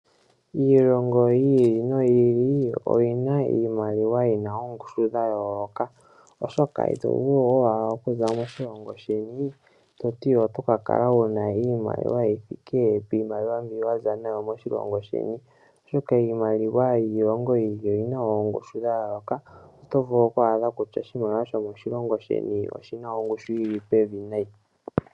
Iilongo yili no yili oyina iimaliwa yina ongushu dhayoloka oshoka itovulu okuza moshilongo sheni toti oto kakala wuna iimaliwa yithike pimaliwa mbi Waza nayo moshilongo sheni , oshoka iimaliwa yiilongo yimwe oyina ongushu dhayoloka, otovulu okwadha kutya oshimaliwa shomoshilongo sheni oshina ongushu yili pevi nayi.